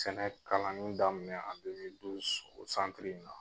Sɛnɛ kalanni daminɛ o in na.